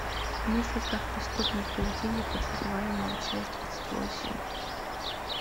мыслить как преступник поведение подозреваемого часть двадцать восемь